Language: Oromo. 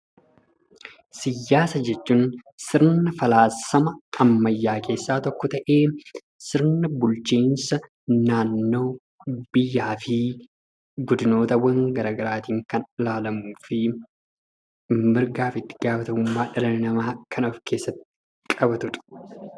Siyaasa jechuun sirna falaasama ammayyaa keessaa tokko ta'ee, sirna bulchiinsa naannoo, biyyaa fi godinootawwan garaagaraatiin kan ilaalamuu fi mirgaa fi ittigaafatamummaa dhala namaa kan of keessatti qabatu dha.